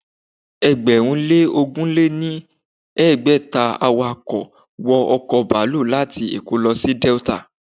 Ẹgbẹ̀rún lé ogún lé ní ẹgbẹ́ta awọkọ̀ wọ ọ̀kọ̀ baluu láti èkó lọ sí Delta